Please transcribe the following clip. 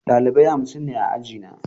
Ɗalibai hamsin ne a ajina.